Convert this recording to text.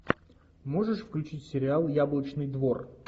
можешь включить сериал яблочный двор